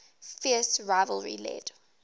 fierce rivalry led